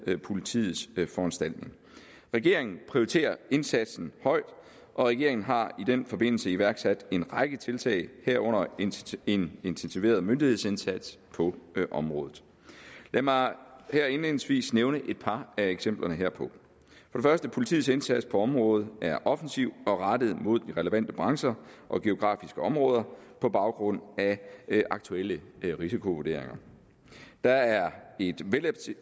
politiets foranstaltning regeringen prioriterer indsatsen højt og regeringen har i den forbindelse iværksat en række tiltag herunder en intensiveret myndighedsindsats på området lad mig her indledningsvis nævne et par af eksemplerne herpå politiets indsats på området er offensiv og rettet mod de relevante brancher og geografiske områder på baggrund af aktuelle risikovurderinger der er